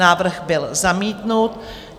Návrh byl zamítnut.